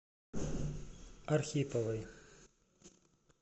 архиповой